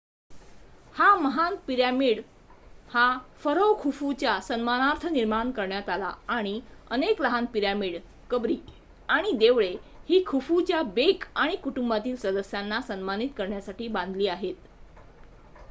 हा महान पिरॅमिड हा फरोह खुफू च्या सन्मानार्थ निर्माण करण्यात आला आणि अनेक लहान पिरॅमिड कंबरी आणि देवळे ही खुफूच्या बेक आणि कुटुंबातील सदस्याना सन्मानित करण्यासाठी बांधण्यात आली